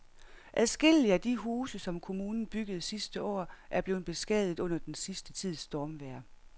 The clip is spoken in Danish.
Adskillige af de huse, som kommunen byggede sidste år, er blevet beskadiget under den sidste tids stormvejr.